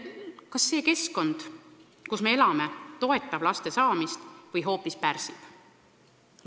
Ja kas see keskkond, kus me elame, toetab või hoopis pärsib laste saamist?